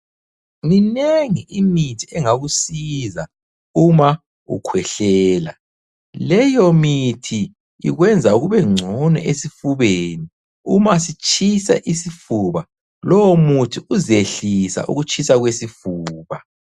Minengi imithi engakusiza uma u khwehlela. Leyo mithi ikwenza kube ngcono esifubeni, uma sitshisa isifuba lowo muthi uzehlisa ukutshisa kwesifuba.